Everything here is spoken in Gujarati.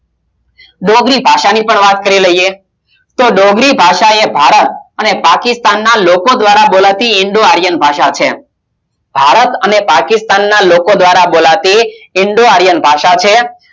ડોંગરી ભાષા ની પણ વાત કરી લઈએ તો ડોંગરી ભાષાએ ભારત અને પાકિસ્તાનના લોકો દ્વારા બોલાતી ઇન્ડો આર્યન ભાષા છે ભારત અને પાકિસ્તાનના લોકો દ્વારા બોલાતી ઇન્ડો આર્યન ભાષા છે